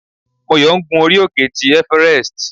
Moyo ń gún orí òkè tí everest.